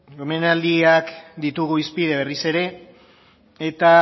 omenaldiak ditugu hizpide berriz ere eta